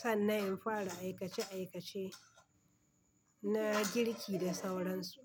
sannan in fara aikace aikace na girki da sauran su.